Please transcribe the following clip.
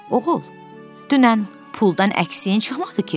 Oğul, dünən puldan əksiyin çıxmadı ki?